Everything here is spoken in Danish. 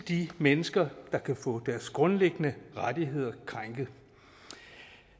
de mennesker der kan få deres grundlæggende rettigheder krænket